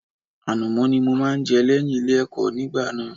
Ànàmọ́ ni mo máa ń jẹ lẹ́yìn Ilé-ẹ̀kọ́ nígbà náà.